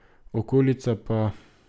Okolica pa ...